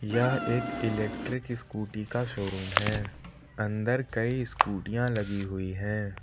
यह एक electric scooty का शोरूम है अंदर कई स्कूटीयां लगी हुई है।